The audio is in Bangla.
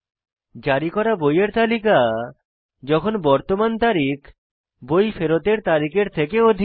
জারি করা বইয়ের তালিকা যখন বর্তমান তারিখ বই ফেরতের তারিখের থেকে অধিক